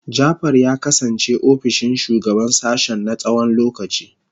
Jafar ya kasance ofishin shugaban sashen na tsawon lokaci.